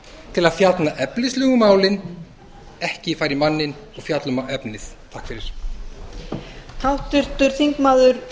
til að fjalla efnislega um málin ekki fara í manninn og fjalla um efnið